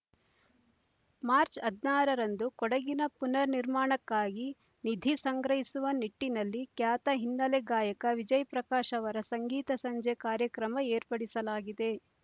March ಹದಿನಾರ ರಂದು ಕೊಡಗಿನ ಪುನರ್ ನಿರ್ಮಾಣಕ್ಕಾಗಿ ನಿಧಿ ಸಂಗ್ರಹಿಸುವ ನಿಟ್ಟಿನಲ್ಲಿ ಖ್ಯಾತ ಹಿನ್ನೆಲೆ ಗಾಯಕ ವಿಜಯಪ್ರಕಾಶ್ ಅವರ ಸಂಗೀತ ಸಂಜೆ ಕಾರ್ಯಕ್ರಮ ಏರ್ಪಡಿಸಲಾಗಿದೆ